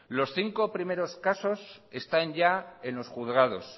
los cinco primero casos están ya en los juzgados